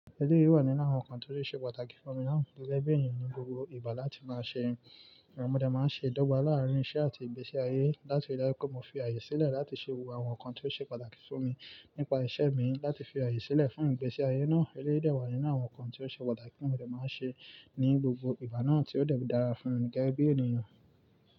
Eléyi wà nínú àwọn nǹkan tó ṣe pàtàkì fún mi gege ènìyàn ní gbogbo ìgbà láti máa ṣe. Mo dé máa ń ṣe ìdọ́gba láàárín iṣẹ́ àti ìgbésí ayé. Láti ri daju wípé mo fi àyè sílẹ̀ láti ṣe gbogbo àwọn nǹkan tí ó ṣe pàtàkì fún mi nípa iṣẹ́ mi láti fi àyè sílẹ̀ fún ìgbésí ayé náà. Eléyi de wà nínú àwọn nǹkan tí ó ṣe pàtàkì tí mo de máa ń ṣe ní gbogbo ìgbà náà tí ó dè n dára fúnmi gégé bí ènìyàn.